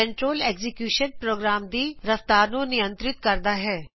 control execution program ਦੀ ਰਫਤਾਰ ਨੂੰ ਨਿਅੰਤ੍ਰਿਤ ਕਰਦਾ ਹੈ